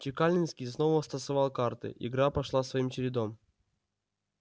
чекалинский снова стасовал карты игра пошла своим чередом